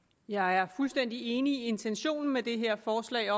jeg er fuldstændig enig i intentionen med det her forslag